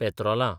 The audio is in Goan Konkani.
पेत्रोलां